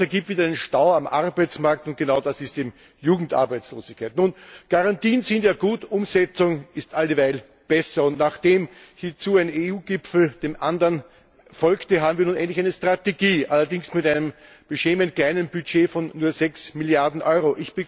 Das ergibt wieder einen Stau am Arbeitsmarkt und genau das ist eben Jugendarbeitslosigkeit. Nun Garantien sind ja gut, Umsetzung ist alldieweil besser. Und nachdem hierzu ein EU Gipfel dem anderen folgte, haben wir nun endlich eine Strategie allerdings mit einem beschämend kleinen Budget von nur 6Milliarden Euro.